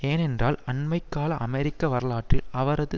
ஏனென்றால் அண்மை கால அமெரிக்க வரலாற்றில் அவரது